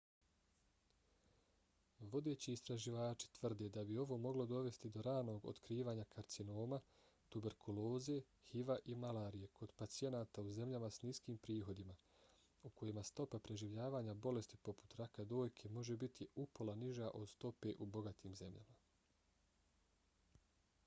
vodeći istraživači tvrde da bi ovo moglo dovesti do ranog otkrivanja karcinoma tuberkuloze hiv-a i malarije kod pacijenata u zemljama s niskim prihodima u kojima stopa preživljavanja bolesti poput raka dojke može biti upola niža od stope u bogatim zemljama